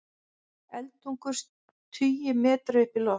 Eldtungur tugi metra upp í loft